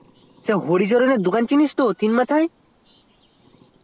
তা তুই হরিচরণের দোকান চিনিস তো তিনমাথায়